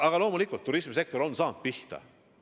Aga loomulikult, turismisektor on saanud pihta.